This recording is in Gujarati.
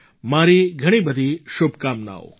મારી ઘણી બધી શુભકામનાઓ છે